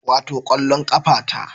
Wato kwallon kafa ta